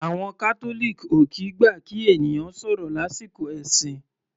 Àwọn Catholic ò kìí gbà kí ènìyàn sọ̀rọ̀ lásìkò ẹ̀sìn.